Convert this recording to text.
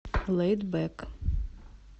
лэйд бэк